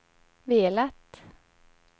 velat